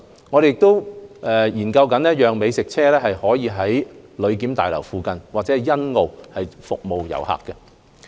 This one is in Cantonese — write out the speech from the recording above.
我們亦研究讓美食車在旅檢大樓附近和欣澳服務遊客。